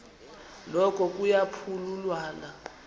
noko kuya phululwana